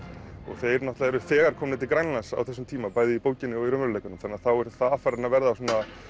þeir náttúrulega eru þegar komnir til Grænlands á þessum tíma bæði í bókinni og í raunveruleikanum þannig að þá er farin að verða svona